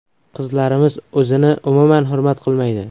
Qizlarimiz o‘zini umuman hurmat qilmaydi.